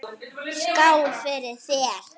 Skál fyrir þér.